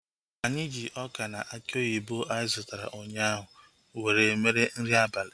Anyị ji ọka na aki oyibo anyị zụtara ụnyaahụ were mee nri abalị